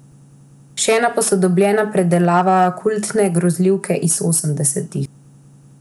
Še ena posodobljena predelava kultne grozljivke iz osemdesetih.